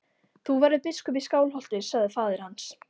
Þú verður biskup í Skálholti, sagði faðir hans.